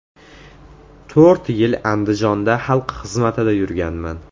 To‘rt yil Andijonda xalq xizmatida yurganman.